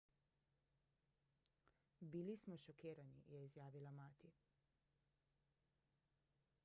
bili smo šokirani je izjavila mati